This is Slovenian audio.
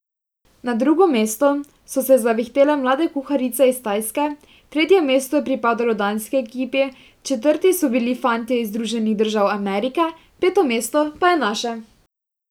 Na drugo mesto so se zavihtele mlade kuharice iz Tajske, tretje mesto je pripadlo danski ekipi, četrti so bili fantje iz Združenih držav Amerike, peto mesto pa je naše!